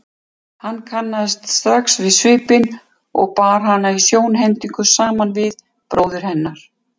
Hann kannaðist strax við svipinn og bar hana í sjónhending saman við bróður hennar.